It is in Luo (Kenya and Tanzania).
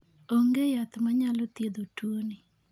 Onge yath manyalo thiedho tuoni.